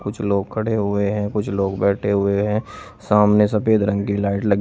कुछ लोग खड़े हुए हैं कुछ लोग बैठे हुए हैं सामने सफेद रंग की लाइट लगी--